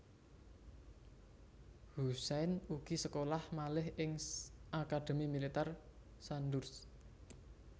Hussein ugi sekolah malih ing Akademi Militèr Sandhurst